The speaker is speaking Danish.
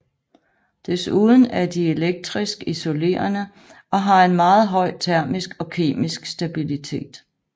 Desuden er de elektrisk isolerende og har en meget høj termisk og kemisk stabilitet